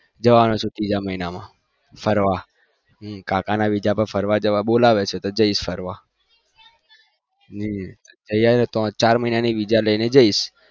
જવાનો છુ ત્રીજા મહિના માં ફરવા કાકા ના વીજા પર ફરવા જવા બોલાવે છે તો જઈશ ફરવા હમ મ ચાર મહિના ની વીજા લઈને જઈશ